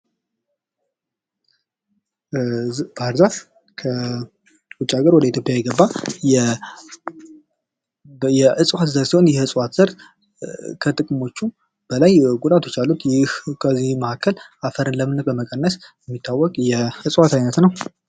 ባህር ዛፍ ከውጭ አገር ወደ ኢትዮጵያ የገባ የእጽዋት ዘር ሲሆን ይህ የእጽዋት ዘር ከጥቅሞቹ በላይ ጉዳቶች አሉት። ይህ ከዚህም መካከል የአፈርን ለምነት በመቀነስ የሚታወቅ የእጽዋት አይነት ነው።